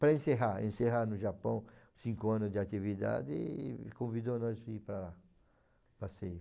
Para encerrar, encerrar no Japão cinco anos de atividade e convidou nós para ir para lá, passeio.